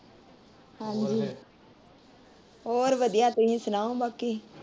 ਹੋਰ ਵਧੀਆ ਤੁਸੀਂ ਸੁਣਾਓ ਬਾਕੀ।